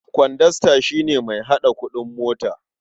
Kwandasta shi ne mai haɗa kuɗin mota.